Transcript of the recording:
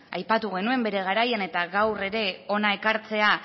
aipatu genuen bere garaian eta gaur ere hona ekartzea